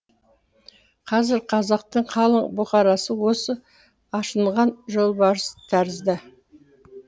қазір қазақтың қалың бұқарасы осы ашынған жолбарыс тәрізді